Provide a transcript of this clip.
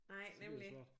Nej nemlig